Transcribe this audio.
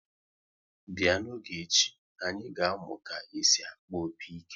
Bịa n'oge echi, anyị ga-amụ ka esi akpọ opi-ike!